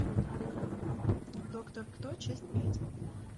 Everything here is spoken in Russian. доктор кто часть пять